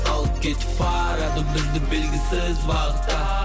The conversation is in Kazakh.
алып кетіп барады бізді белгісіз бағытта